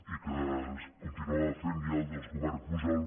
i que es continuava fent ja amb els governs pujol